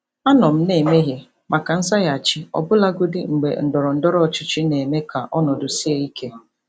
Anọ m na-emeghe maka nzaghachi, ọbụlagodi mgbe ndọrọ ndọrọ ọchịchị na-eme ka ọnọdụ sie ike.